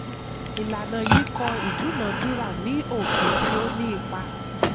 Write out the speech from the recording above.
ìlànà yìí kọ ìdúnadúrà ní òfin tí ó ní ipa.